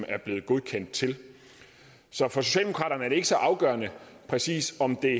er blevet godkendt til så for socialdemokraterne er det ikke så afgørende præcis om det